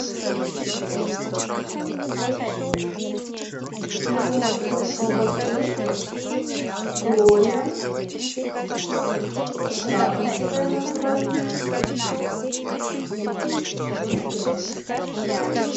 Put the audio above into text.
нужно заказать колбасу глория краковская название двести грамм